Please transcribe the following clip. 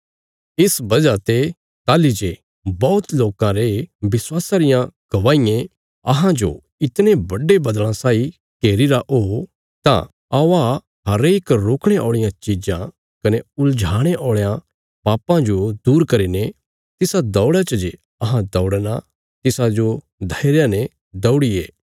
इस वजह ते ताहली जे बौहत लोकां रे विश्वासा रियां गवाहीयें अहांजो इतणे बड्डे बद्दल़ा साई घेरीरा ओ तां औआ हरेक रोकणे औल़ियां चिज़ां कने उलझाणे औल़यां पापां जो दूर करीने तिसा दौड़ा च जे अहां दौड़णा तिसाजो धैर्य ने दौड़िये